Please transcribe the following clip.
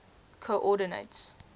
coordinates